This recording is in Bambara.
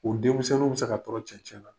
O denmisƐnninw bɛ ka tɔrɔ cɛcɛ na,